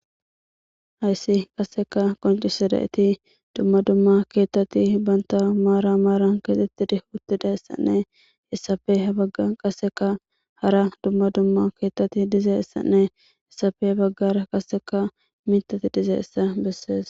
Hayssi qassika qoncisidayti dumma dumma kethati bantta maaran maaran keexetidi utidaysanne hesappe habagara hara dumma dumma kethati dizaysanne hesappe habagara qasikka mithati dizayssa besees.